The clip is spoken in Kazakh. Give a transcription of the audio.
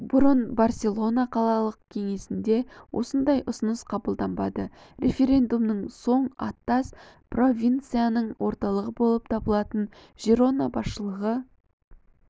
бұрын барселона қалалық кеңесінде осындай ұсыныс қабылданбады референдумнан соң аттас провинцияның орталығы болып табылатын жирона басшылығы